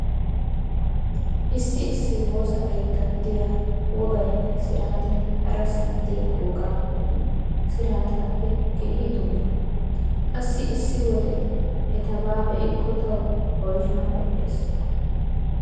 Issi issi woosa keettan diya wogaynne siraatay harasan diya wogaappenne siraataappe keehi dumma. Qassi issi wode etabaa be'ikko tawu oyshaa medhdhees.